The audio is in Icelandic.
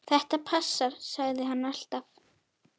Þetta passar, sagði hann alltaf.